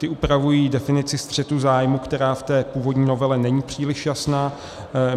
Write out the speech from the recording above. Ty upravují definici střetu zájmů, která v té původní novele není příliš jasná.